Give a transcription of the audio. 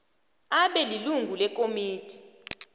abe lilungu lekomidi